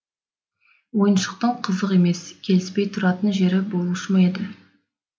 ойыншықтың қызық емес келіспей тұратын жері болушы ма еді